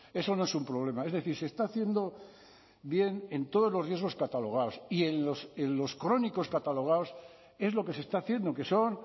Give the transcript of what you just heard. eso no es un problema es decir se está haciendo bien en todos los riesgos catalogados y en los crónicos catalogados es lo que se está haciendo que son